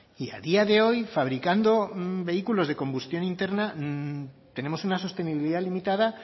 y a día de hoy fabricando vehículos de combustión interna tenemos una sostenibilidad limitada